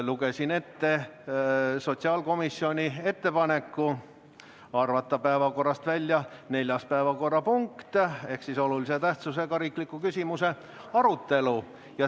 Lugesin ette sotsiaalkomisjoni ettepaneku arvata päevakorrast välja neljas päevakorrapunkt ehk olulise tähtsusega riikliku küsimuse arutelu.